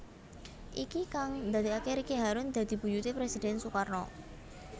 Iki kang ndadekaké Ricky harun dadi buyuté Presiden Sukarno